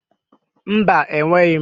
Mba, enweghị m